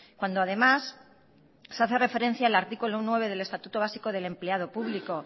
cuando además se hace referencia al artículo nueve del estatuto básico del empleado público